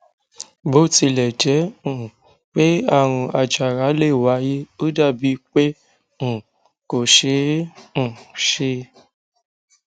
bó tilè jé um pé àrùn àjàrà lè wáyé ó dà bíi pé um kò ṣeé um ṣe